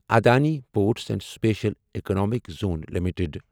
Adani ports and special economic zone limited